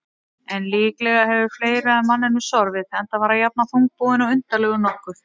En líklega hefur fleira að manninum sorfið, enda var hann jafnan þungbúinn og undarlegur nokkuð.